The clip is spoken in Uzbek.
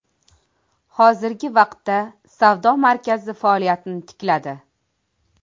Hozirgi vaqtda savdo markazi faoliyatini tikladi.